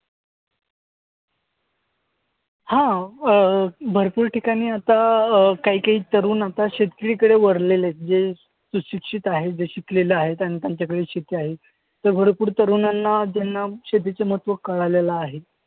हां. अं भरपूर ठिकाणी आता अं काही काही तरुण आता शेतीकडे वळलेले आहेत. जे सुशिक्षित आहेत. जे शिकलेले आहेत आणि त्यांच्याकडे शेती आहे. तरुणांना त्यांना शेतीचं महत्व कळालेलं आहे.